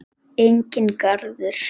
Enginn garður.